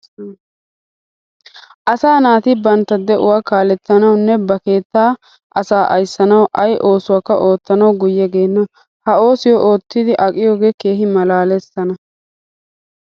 Asaa naati bantta de'uwa kaalettanawunne ba keettaa asaa ayssanawu ay oosuwakka oottanawu guyye geenna. Ha oosiyo oottidi aqiyogee keehi maalaalees tana!